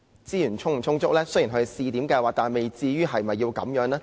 雖然這只是個試驗計劃，但未至於要這樣吧？